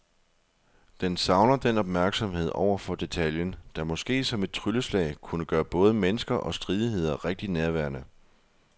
Den savner den opmærksomhed over for detaljen, der måske som et trylleslag kunne gøre både mennesker og stridigheder rigtig nærværende.